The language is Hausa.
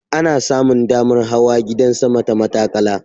Ana samun damar hawa gidan sama ta matattakala.